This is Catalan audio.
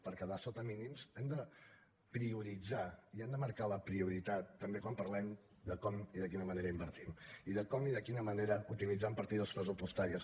per quedar sota mínims hem de prioritzar i hem de marcar la prioritat també quan parlem de com i de quina manera invertim i de com i de quina manera utilitzem partides pressupostàries